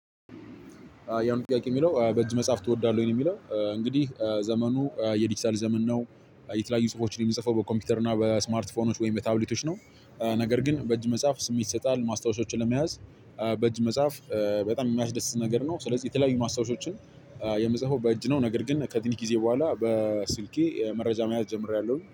ያን ጥያቄ የሚለው በእጅ መጽሐፍ ትወዳለህ የሚለው እንግዲህ ዘመኑ የዲጂታል ዘመን ነው የተለያዩ ጽሁፎች ላይ የሚጽፈው በኮምፒውተር እና በስማርት ፎኖች ወይም በታብሊቶች ነው ነገር ግን በእጅ መጽሐፍ ስሜት ይሰጣል ማስታወሻዎችን ለመያዝ። በእጅ መጻፍ በጣም የሚያስደስት ነገር ነው ስለዚህ የተለያዩ ማስታወሻዎችን የምጽፈው በእጅ ነው። ነገር ግን ከትንሽ ጊዜ በኋላ በስልኬ መረጃ መያዝ ጀምሬያለሁኝ